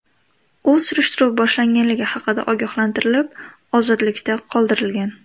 U surishtiruv boshlanganligi haqida ogohlantirilib, ozodlikda qoldirilgan.